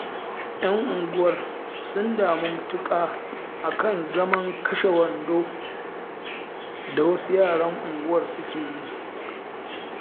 Yan unguwar sun damu matuƙa a kan zaman kashe-wando da wasu yaran unguwar suke yi